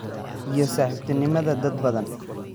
iyo saaxiibtinimada dad badan.